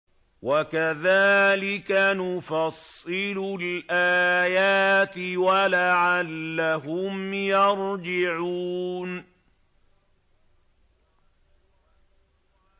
وَكَذَٰلِكَ نُفَصِّلُ الْآيَاتِ وَلَعَلَّهُمْ يَرْجِعُونَ